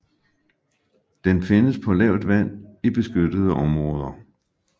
Den findes på lavt vand i beskyttede områder